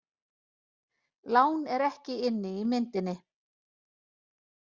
Lán er ekki inni í myndinni